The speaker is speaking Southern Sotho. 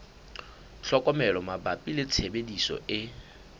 tlhokomelo mabapi le tshebediso e